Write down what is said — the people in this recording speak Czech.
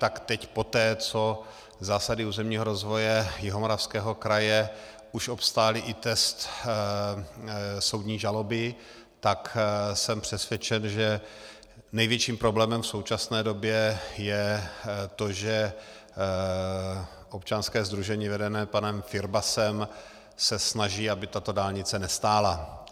Tak teď poté, co zásady územního rozvoje Jihomoravského kraje už obstály i test soudní žaloby, tak jsem přesvědčen, že největším problémem v současné době je to, že občanské sdružení vedené panem Firbasem se snaží, aby tato dálnice nestála.